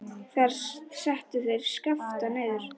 Þar settu þeir Skapta niður.